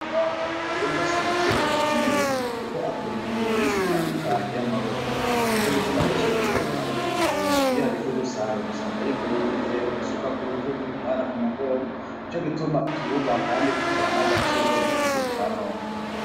Nyina wa muntu mu Burundi afise agaciro gakomeye kuko akora imirimo myinshi itandukanye yamaboko nico gituma benshi bamwita ni maboko igihumbi, iyo hageze gusarura usanga yikoreye igitebo, isuka kurutugu, umwana ku mugongo, nico gituma tububaha kandi tukabaha n'agaciro muri kigihe ca none.